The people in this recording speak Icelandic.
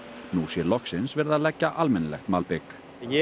nú sé loksins verið að leggja almennilegt malbik ég